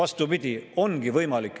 Miks just niisugused protsendid?